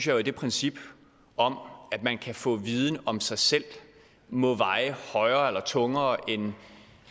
jo at det princip om at man kan få viden om sig selv må veje højere eller tungere end